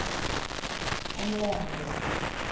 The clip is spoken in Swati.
umlente